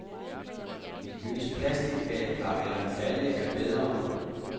Et løst plastikbadekar eller en balje er bedre.